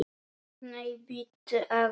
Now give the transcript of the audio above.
Nei, bíddu aðeins!